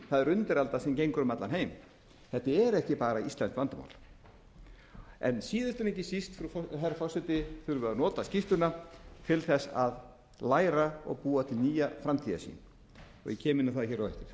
er undiralda sem gengur um allan heim þetta er ekki bara íslenskt vandamál en síðast en ekki síst herra forseti þurfum við að nota skýrsluna til að læra og búa til nýja framtíðarsýn og ég kem inn á það á eftir